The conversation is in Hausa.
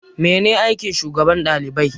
Mene ne aikin shugaban ɗalibai?